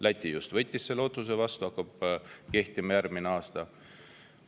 Läti just võttis selle otsuse vastu, see hakkab kehtima järgmisel aastal.